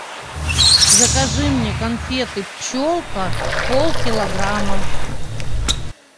закажи мне конфеты пчелка полкилограмма